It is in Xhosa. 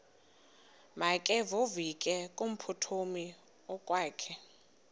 makevovike kumphuthumi okokwakhe